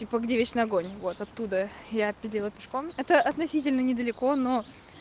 типа где вечный огонь вот оттуда я пилила пешком это относительно недалеко но